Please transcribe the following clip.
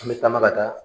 An bɛ taama ka taa